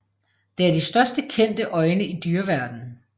Det er de største kendte øjne i dyreverdenen